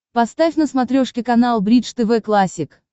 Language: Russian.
поставь на смотрешке канал бридж тв классик